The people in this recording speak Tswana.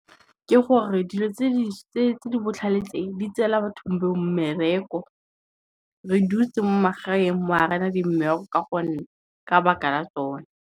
Ke gore dilo tse di botlhale tse di tseela bathong mmereko. Re dutse mo magaeng mo ga rena dimmereko ka gonne, ka baka la tsona.